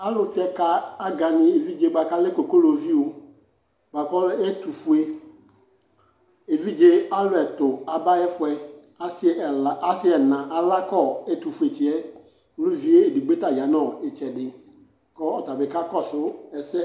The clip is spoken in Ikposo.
Alʋ tɛka aganɩ evidze bʋa kalɛ kokoloviu, lakʋ ɛtʋfue evidze alʋ ɛtʋ aba'yɛfʋɛ asɩ ɛla asɩ ɛna alakɔ etʋfuetsɩɛ, k'uluvi edigbo ta ya n'ɩtsɛdɩ kɔta bɩ kakɔsʋ ɛsɛ